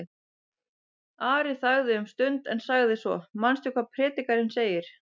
Ari þagði um stund en sagði svo: Manstu hvað Predikarinn segir?